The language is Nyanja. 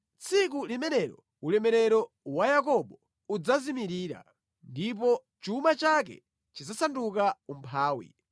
“Tsiku limenelo ulemerero wa Yakobo udzazimirira; ndipo chuma chake chidzasanduka umphawi.